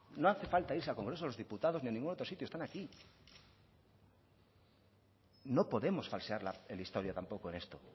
no hace falta irse al congreso de los diputados ni a ningún otro sitio están aquí no podemos falsear la historia tampoco en esto